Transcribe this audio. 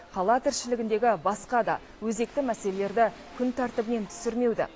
қала тіршілігіндегі басқа да өзекті мәселелерді күн тәртібінен түсірмеуді